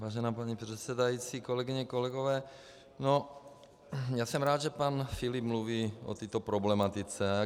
Vážená paní předsedající, kolegyně, kolegové, já jsem rád, že pan Filip mluví o této problematice.